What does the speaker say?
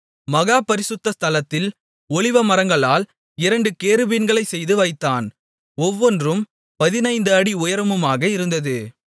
மகா பரிசுத்த ஸ்தலத்தில் ஒலிவமரங்களால் இரண்டு கேருபீன்களைச் செய்து வைத்தான் ஒவ்வொன்றும் 15 அடி உயரமுமாக இருந்தது